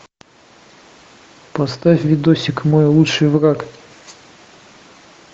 поставь видосик мой лучший враг